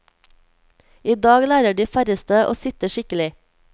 I dag lærer de færreste å sitte skikkelig.